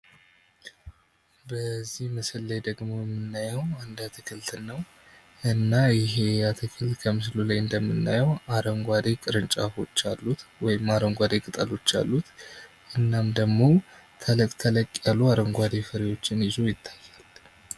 በዚህ ምስል ላይ ደግሞ የምናየው አንድ አትክልትን ነው እና ይህ አትክልት ከምስሉ ላይ እንደምናየው አረንጓዴ ቅርንጫፎች አሉት ወይም አረንጓዴ ቅጠሎች አሉት እናም ደግሞ ተለቅ ተለቅ ያሉ አረንጓዴ ፍሬዎችን ይዞ ይታያል ።